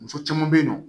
Muso caman bɛ yen nɔ